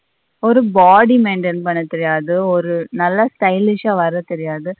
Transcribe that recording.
ஒரு body maintain பண்ண தெரியாது ஒரு நல்ல stylish ஆ வர தெரியாது.